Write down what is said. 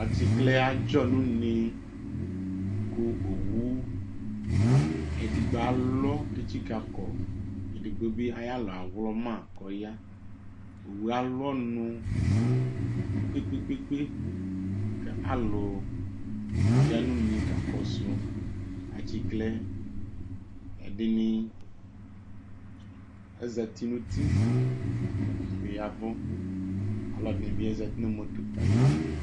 Atsiklɛ adzɔ nu úne Ku owu edigbo ãlɔ tsikãkɔEdigbo bi ayu alɔ yɛ awlɔmã ku ɔya Owu yɛ âlu ɔnù kpekpe kpekpe Ku ãlu ya nu une kɔsu atsiklɛ yɛ Ɛdini azãti nu uti, ɛdini bi ya nù ùvù Aluɛdini bi zãti nu moto ayili